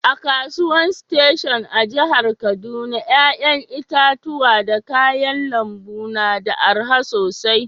A'kasuwan station a'jihar Kaduna yayan itatuwa da kayan lambu na da araha sosai.